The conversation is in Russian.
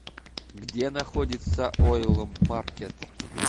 где находится ойл маркет